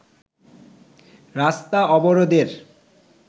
রাস্তা অবরোধের